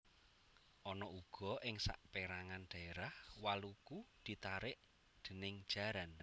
Ana uga ing sapérangan dhaérah waluku ditarik déning jaran